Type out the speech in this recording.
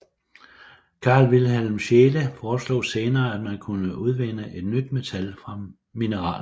Carl Wilhelm Scheele foreslog senere at man kunne udvinde et nyt metal fra mineralet